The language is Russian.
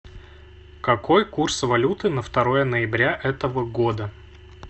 какой курс валюты на второе ноября этого года